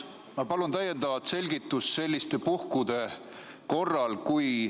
Ma palun täiendavat selgitust selliste puhkude korraks.